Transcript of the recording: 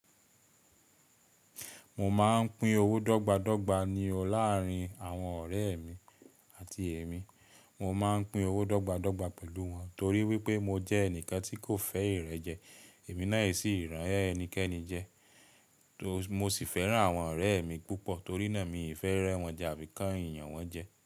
Mo máa ń pín owó dọ́gba dọ́gba ni o láàárín àwọn ọ̀rẹ́ mi àti èmi. Mo máa ń pín owó dọ́gba dọ́gba pẹ̀lú wọn torí wípé mo jẹ́ ẹnìkan tí kò fẹ́ ìrẹ́jẹ, èmi náà sì rán ẹnikẹ́ni jẹ. Mo sì fẹ́ràn àwọn ọ̀rẹ́ mi púpọ̀ torí náà mi ì fẹ́ rẹ́ wọn jẹ àbí kan ìyàn wọn jẹ.